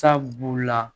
Sabu la